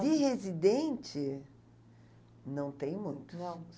De residente, não tem muitos. Não?